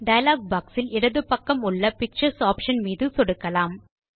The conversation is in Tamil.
டயலாக் boxயில் இடது பக்கம் உள்ள பிக்சர்ஸ் ஆப்ஷன் மீது சொடுக்கலாம்